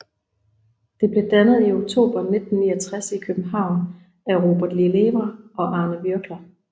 Det blev dannet i oktober 1969 i København af Robert Lelièvre og Arne Würgler